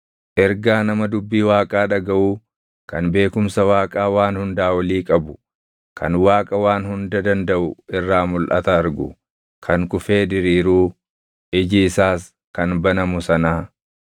ergaa nama dubbii Waaqaa dhagaʼuu kan beekumsa Waaqa Waan Hundaa Olii qabu kan Waaqa Waan Hunda Dandaʼu irraa mulʼata argu kan kufee diriiruu, iji isaas kan banamu sanaa: